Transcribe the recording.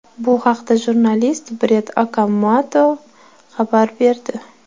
Bu haqda jurnalist Brett Okamoto xabar berdi .